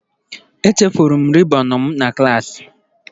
Echefuru m rịbọn m na klaasị.